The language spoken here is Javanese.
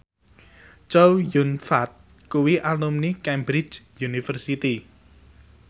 Chow Yun Fat kuwi alumni Cambridge University